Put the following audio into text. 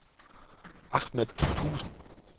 Ahmad Thuesen